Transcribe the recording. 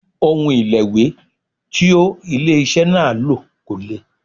Òun ìlẹ̀wé tí ó ilé iṣẹ́ náà lò kò lè.